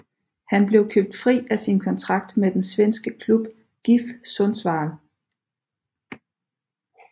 Han blev købt fri af sin kontrakt med den svenske klub GIF Sundsvall